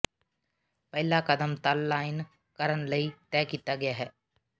ਪਹਿਲਾ ਕਦਮ ਤਲ ਲਾਈਨ ਕਰਨ ਲਈ ਤਹਿ ਕੀਤਾ ਗਿਆ ਹੈ